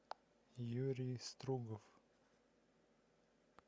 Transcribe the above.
юрий стругов